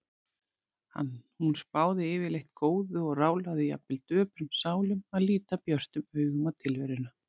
Hún spáði yfirleitt góðu og ráðlagði jafnvel döprum sálum að líta björtum augum á tilveruna.